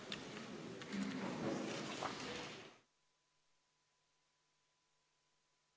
Istungi lõpp kell 11.10.